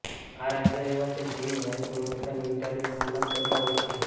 આ રાજ્યો એવા છે જેની વાયુ ગુણવત્તા નિર્ધારિત માનક કરતાં ઓછી છે